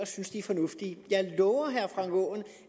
synes de er fornuftige jeg lover herre frank aaen